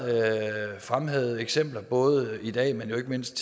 fremhævet eksempler både i dag men ikke mindst